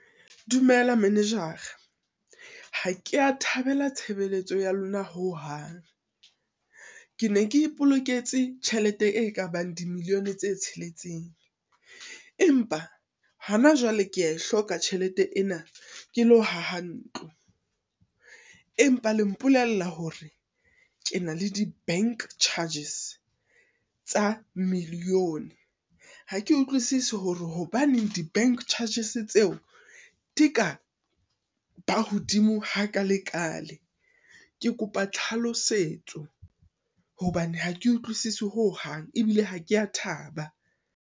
Dumela manager-ra, ha kea thabela tshebeletso ya lona ho hang. Kene ke e poloketse tjhelete e ka bang di-million-e tse tsheletseng, empa hona jwale ke a e hloka tjhelete ena, ke lo haha ntlo, empa le mpolella hore, ke na le di-bank charges tsa million, ha ke utlwisisi hore hobaneng di-bank charges tseo di ka ba hodimo ha ka lekalekale, ke kopa tlhalosetso hobane hake utlwisisi ho hang, ebile ha ke a thaba.